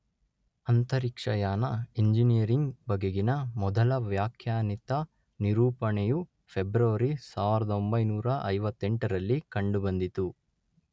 ಅಂತರಿಕ್ಷಯಾನ ಇಂಜಿನಿಯರಿಂಗ್ ಬಗೆಗಿನ ಮೊದಲ ವ್ಯಾಖ್ಯಾನಿತ ನಿರೂಪಣೆಯು ಫೆಬ್ರವರಿ ಸಾವಿರದೊಂಬೈನೂರ ಐವತ್ತೆಂಟರಲ್ಲಿ ಕಂಡುಬಂದಿತು.